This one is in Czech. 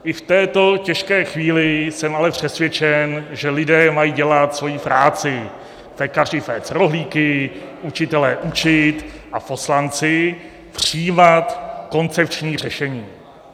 I v této těžké chvíli jsem ale přesvědčen, že lidé mají dělat svoji práci, pekaři péct rohlíky, učitelé učit a poslanci přijímat koncepční řešení.